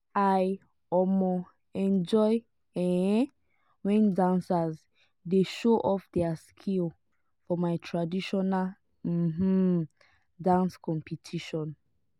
i um enjoy um wen dancers dey show off their skill for for traditional um dance competition.